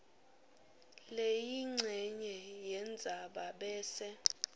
leyincenye yendzaba bese